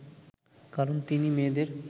কারণ তিনি মেয়েদের